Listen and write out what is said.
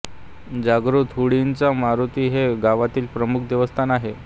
जागृत हुडीचा मारुती हे या गावातील प्रमुख देवस्थान आहे